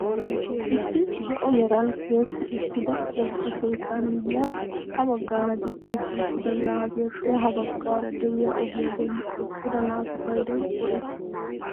Issi zo'o meran tiyetti uttida wogga keettaa miyiyaan ha baggaara diccidi uttida zaapiyaappe ha baggaara de'iyaa ogiyaa bolli eqqida naatu paydoy woysee?